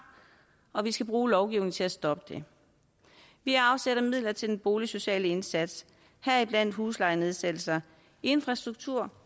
og vi skal bruge lovgivningen til at stoppe det vi har afsat midler til den boligsociale indsats heriblandt huslejenedsættelser infrastruktur